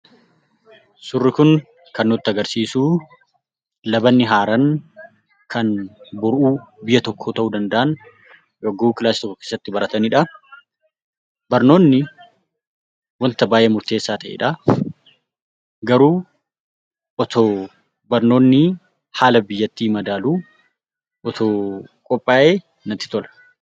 Suurri kun kan nutti agarsiisu labatni haaraan kan boruu biyya tokko ta'uu danda'an yogguu daree tokko keessatti baratanidha. Barnootni wanta baay'ee murteessaa ta'edha. Garuu osoo barnootni haala biyyattii madaalu osoo qophaayee natti tola.